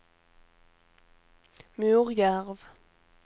Morjärv